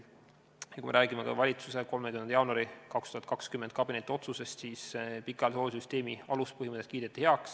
Kui me räägime valitsuse 30. jaanuari 2020 kabinetiotsusest, siis pikaajalise hoolduse süsteemi aluspõhimõtted kiideti heaks.